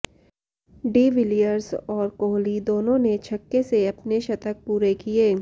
de Villiers और कोहली दोनों ने छक्के से अपने शतक पूरे किये